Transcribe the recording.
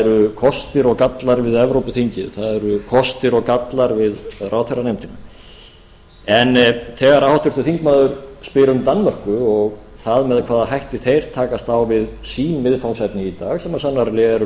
eru kostir og gallar við evrópuþingið það eru kostir og gallar við ráðherranefndina en þegar háttvirtur þingmaður spyr um danmörku og það með hvaða hætti þeir takast á við sín viðfangsefni í dag sem sannarlega er